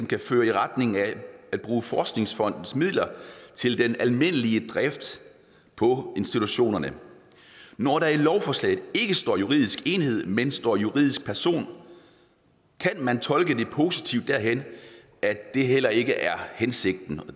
kan føre i retning af at bruge forskningsfondens midler til den almindelige drift på institutionerne når der i lovforslaget ikke står juridisk enhed men står juridisk person kan man tolke det positivt derhen at det heller ikke er hensigten